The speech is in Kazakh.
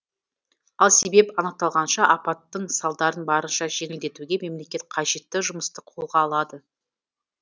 ал себеп анықталғанша апаттың салдарын барынша жеңілдетуге мемлекет қажетті жұмысты қолға алды